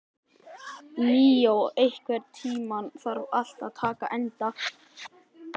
Míó, einhvern tímann þarf allt að taka enda.